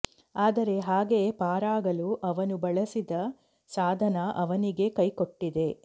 ಆದರೆ ಹಾಗೆ ಪಾರಾಗಲು ಅವನು ಬಳಸಿದ ಸಾಧನ ಅವನಿಗೆ ಕೈಕೊಟ್ಟಿದೆ